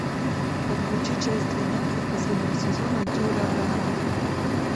подключи часть двенадцать последнего сезона дюрарара